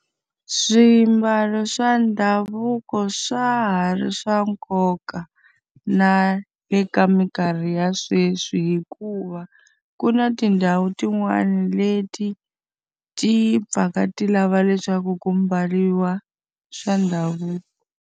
Swiambalo swa ndhavuko swa ha ri swa nkoka na le ka minkarhi ya sweswi hikuva, ku na tindhawu tin'wani leti ti pfaka ti lava leswaku ku mbariwa swa ndhavuko.